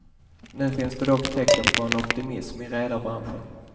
Nu finns det dock tecken på en optimism i redarbranschen.